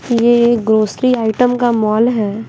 यह grocery item का mall है।